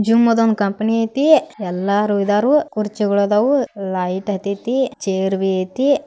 Gym ಅದ್ company ಐತಿ ಎಲ್ಲಾರು ಇದಾರು ಕುರ್ಚಿಗೊಳ್ ಇದಾವು ಲೈಟ್ ಹತೇತಿ ಚೇರ್ ಬಿ ಐತಿ.